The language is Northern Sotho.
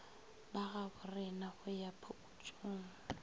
ba gaborena go ya phokotšong